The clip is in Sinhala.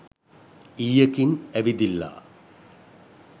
ඊයකින් ඇවිදිල්ලා